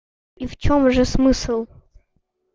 и в чём же смысл